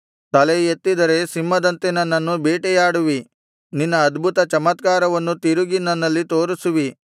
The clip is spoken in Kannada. ತಲೆಯೆತ್ತಿದರೆ ಸಿಂಹದಂತೆ ನನ್ನನ್ನು ಬೇಟೆಯಾಡುವಿ ನಿನ್ನ ಅದ್ಭುತ ಚಮತ್ಕಾರವನ್ನು ತಿರುಗಿ ನನ್ನಲ್ಲಿ ತೋರಿಸುವಿ